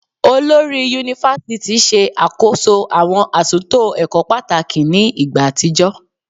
Olori Yunifásítì ṣe àkóso àwọn àtúntò ẹ̀kọ́ pàtàkì ní ìgbà àtijọ́